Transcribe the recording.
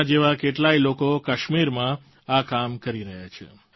તેમના જેવા કેટલાય લોકો કાશ્મીરમાં આ કામ કરી રહ્યા છે